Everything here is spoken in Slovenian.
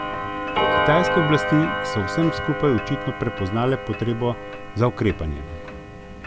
Kitajske oblasti so v vsem skupaj očitno prepoznale potrebo za ukrepanje.